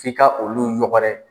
F'i ka olu ɲɔgɔrɛ